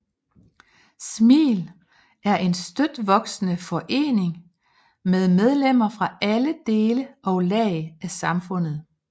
SMil er en støt voksende forening med medlemmer fra alle dele og lag af samfundet